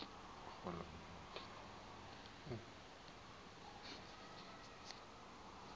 rhulumente